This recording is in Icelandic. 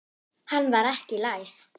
Hann var ekki læs.